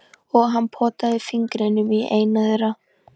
Og hann potaði fingrinum í eina þeirra.